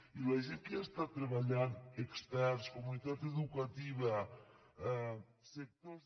i la gent que hi està treballant experts comunitat educativa sectors